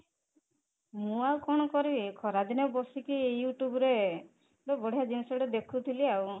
ମୁଁ ଆଉ କଣ କରିବି, ଖରା ଦିନେ ବସିକି you tube ରେ ଗୋଟେ ବଢିଆ ଜିନିଷ ଟେ ଦେଖୁଥିଲି ଆଉ